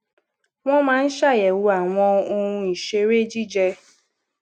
wón máa ń ṣàyèwò àwọn ohun ìṣeré jijẹ